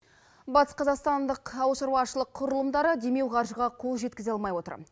батысқазақстандық ауыл шаруашылық құрылымдары демеу қарыжға қол жеткізе алмай отыр